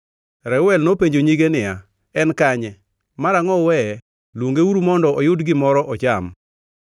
Reuel nopenjo nyige niya, “En kanye? Marangʼo uweye? Luongeuru mondo oyud gimoro ocham.”